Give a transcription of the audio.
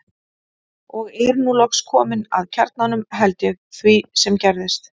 Og er nú loks komin að kjarnanum, held ég, því sem gerðist.